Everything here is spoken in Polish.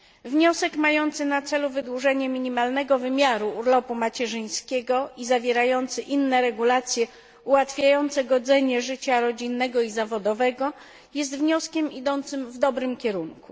Wniosek mający na celu wydłużenie minimalnego wymiaru urlopu macierzyńskiego i zawierający inne regulacje ułatwiające godzenie życia rodzinnego i zawodowego jest wnioskiem idącym w dobrym kierunku.